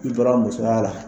I bɔra musoya la